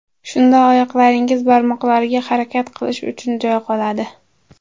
Shunda oyoqlaringiz barmoqlariga harakat qilish uchun joy qoladi.